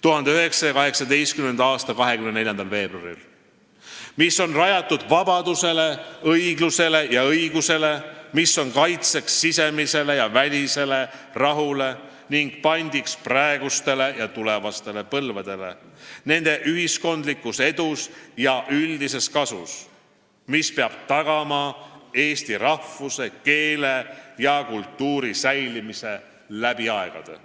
1918. aasta 24. veebruaril, mis on rajatud vabadusele, õiglusele ja õigusele, mis on kaitseks sisemisele ja välisele rahule ning pandiks praegustele ja tulevastele põlvedele nende ühiskondlikus edus ja üldises kasus, mis peab tagama eesti rahvuse, keele ja kultuuri säilimise läbi aegade.